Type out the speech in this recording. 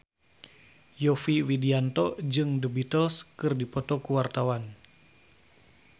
Yovie Widianto jeung The Beatles keur dipoto ku wartawan